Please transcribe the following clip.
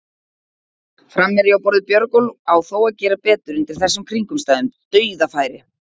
Framherji á borð við Björgólf á þó að gera betur undir þessum kringumstæðum, dauðafæri!